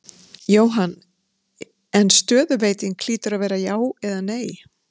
Jóhann: En stöðuveiting hlýtur að vera já eða nei?